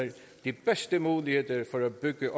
de bedste muligheder for at bygge